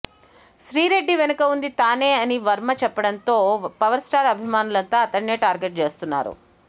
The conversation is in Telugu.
శ్రీరెడ్డి వెనుక ఉంది తానేనని వర్మ చెప్పడంతో పవర్ స్టార్ అభిమానులంతా అతడ్నే టార్గెట్ చేస్తున్నారు